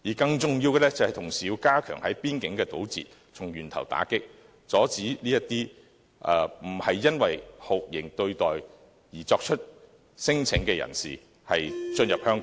更重要的是，當局同時要加強邊境堵截，從源頭打擊，阻止這些不是因為酷刑對待而作出聲請的人士進入香港。